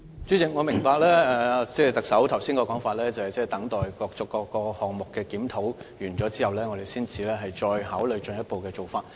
主席，我明白特首剛才的說法，即要等待各個項目完成檢討後，我們才考慮進一步的做法。